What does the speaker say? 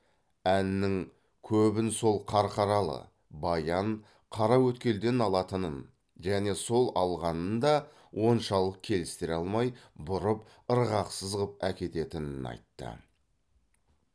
әннің көбін сол қарқаралы баян қараөткелден алатынын және сол алғанын да оншалық келістіре алмай бұрып ырғақсыз ғып әкететінін айтты